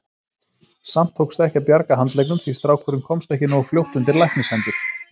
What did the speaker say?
Samt tókst ekki að bjarga handleggnum því strákurinn komst ekki nógu fljótt undir læknishendur.